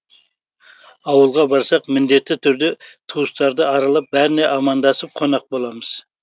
ауылға барсақ міндетті түрде туыстарды аралап бәріне амандасып қонақ боламыз